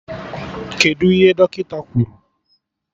Kedụ ihe Dọkịta kwuru?